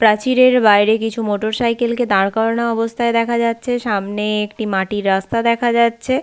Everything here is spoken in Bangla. প্রাচীরের বাইরে কিছু মোটর সাইকেল কে দাঁড় করানো অবস্থায় দেখা যাচ্ছে সামনে একটি মাটির রাস্তা দেখা যাচ্ছে।